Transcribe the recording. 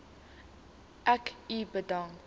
ek u bedank